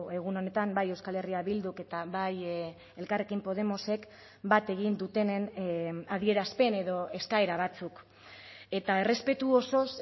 egun honetan bai euskal herria bilduk eta bai elkarrekin podemosek bat egin dutenen adierazpen edo eskaera batzuk eta errespetu osoz